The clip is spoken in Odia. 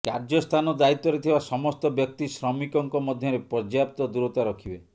କାର୍ଯ୍ୟ ସ୍ଥାନ ଦାୟିତ୍ୱରେ ଥିବା ସମସ୍ତ ବ୍ୟକ୍ତି ଶ୍ରମିକଙ୍କ ମଧ୍ୟରେ ପର୍ଯ୍ୟାପ୍ତ ଦୂରତା ରଖିବେ